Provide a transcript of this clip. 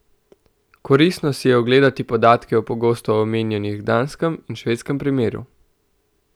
Koristno si je ogledati podatke o pogosto omenjanih danskem in švedskem primeru.